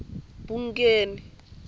bungeni